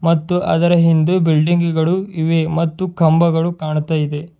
ಮತ್ತು ಅದರ ಇಂದು ಬಿಲ್ಡಿಂಗ್ ಗಳು ಇವೆ ಮತ್ತು ಕಂಬಗಳು ಕಾಣ್ತಾ ಇದೆ.